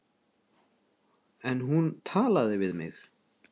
En hún talaði við mig.